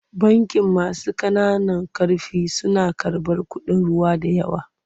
Bankin masu ƙananan ƙarfi suna karɓar kuɗin ruwa da yawa.